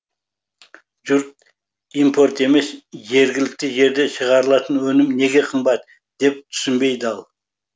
жұрт импорт емес жергілікті жерде шығарылатын өнім неге қымбат деп түсінбей дал